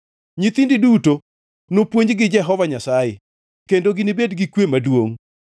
Nyithindi duto nopuonj gi Jehova Nyasaye kendo ginibed gi kwe maduongʼ.